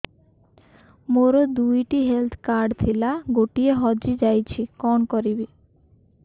ମୋର ଦୁଇଟି health card ଥିଲା ଗୋଟିଏ ହଜି ଯାଇଛି କଣ କରିବି